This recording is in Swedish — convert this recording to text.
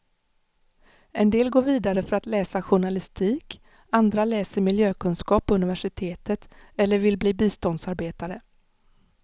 En del går vidare för att läsa journalistik, andra läser miljökunskap på universitetet eller vill bli biståndsarbetare.